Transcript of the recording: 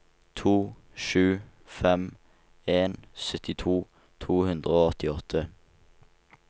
to sju fem en syttito to hundre og åttiåtte